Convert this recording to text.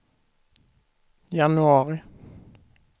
januari